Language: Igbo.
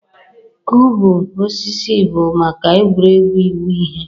Kụubụ osisi bụ maka egwuregwu ịwụ ihe.